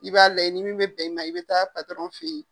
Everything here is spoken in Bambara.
I b'a layɛ ni min bɛ bɛn i ma i bɛ taa fɛ yen.